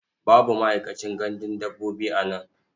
Babu ma'aikacin gandun dabbobi a nan.